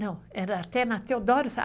Não, era até na Teodoro Sampaio.